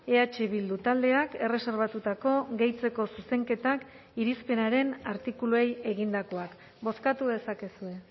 eh bildu taldeak erreserbatutako gehitzeko zuzenketak irizpenaren artikuluei egindakoak bozkatu dezakezue